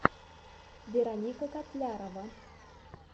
вероника котлярова